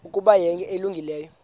ukuba yinto elungileyo